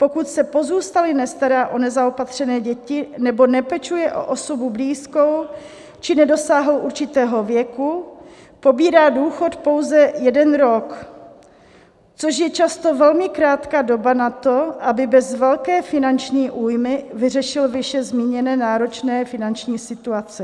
Pokud se pozůstalý nestará o nezaopatřené děti nebo nepečuje o osobu blízkou či nedosáhl určitého věku, pobírá důchod pouze jeden rok, což je často velmi krátká doba na to, aby bez velké finanční újmy vyřešil výše zmíněné náročné finanční situace.